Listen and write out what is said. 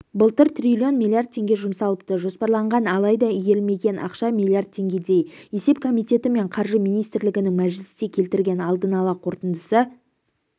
былтыр триллион миллиард теңге жұмсалыпты жоспарланған алайда игерілмеген ақша миллиард теңгедей есеп комитеті мен қаржы министрлігінің мәжілісте келтірген алдын ала қорытындысы